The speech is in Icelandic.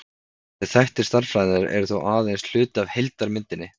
Þessir þættir stærðfræðinnar eru þó aðeins hluti af heildarmyndinni.